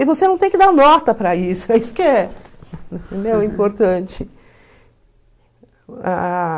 E você não tem que dar nota para isso, é isso que importante.